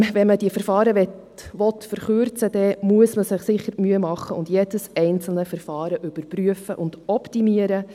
Wenn man diese Verfahren verkürzen möchte, muss man sich sicher die Mühe machen, jedes einzelne Verfahren zu überprüfen und zu optimieren.